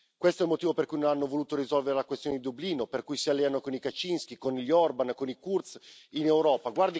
Questo è il motivo per cui non hanno voluto risolvere la questione di Dublino, per cui si alleano con i Kaczyński, con gli Orbán, con i Kurz in Europa.